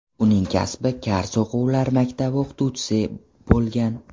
Uning kasbi kar-soqovlar maktabi o‘qituvchisi bo‘lgan.